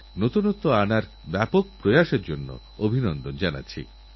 গত সপ্তাহেআব্দুল কালামজীর প্রয়াণ দিবসে দেশ এবং বিশ্ব শ্রদ্ধাঞ্জলি জানিয়েছে